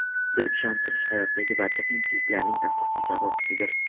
deb ishontirish hayotdagi barcha qiyinchiliklarning asosiy sababchisidir.